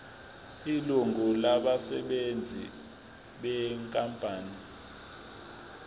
ilungu labasebenzi benkampani